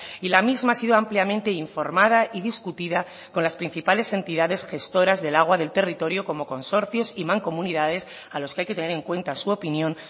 y la misma ha sido ampliamente informada y discutida con las principales entidades gestoras del agua del territorio como consorcios y mancomunidades a los que hay que tener en cuenta su opinión